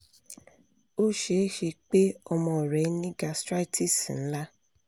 o ṣee ṣe pe ọmọ rẹ ni gastritis nla